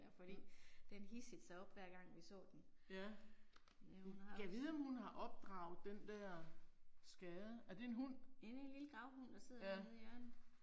Hm. Ja. Gad vide om hun har opdraget den der skade? Er det en hund? Ja